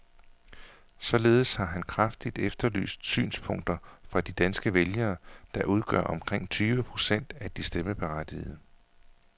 Således har han kraftigt efterlyst synspunkter fra de danske vælgere, der udgør omkring tyve procent af de stemmeberettigede.